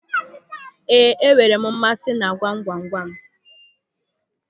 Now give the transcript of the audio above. Ee, enwere m mmasị na gwamgwamgwam.